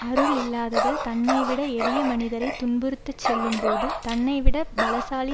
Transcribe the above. அருள் இல்லாதவள் தன்னைவிட எளிய மனிதரைத் துன்புறுத்தச் செல்லும்போது தன்னைவிட பலசாலி